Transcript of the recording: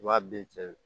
I b'a bɛɛ cɛ